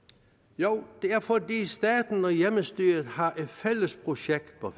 jo det er fordi staten og hjemmestyret har et fælles projekt for